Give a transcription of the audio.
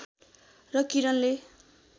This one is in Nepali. र किरणले